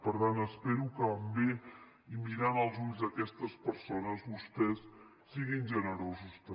per tant espero que pel bé i mirant als ulls d’aquestes persones vostès siguin generosos també